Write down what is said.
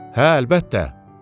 Hə, əlbəttə.